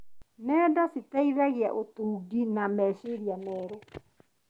Nenda cikũragia ũtungi na meciria merũ.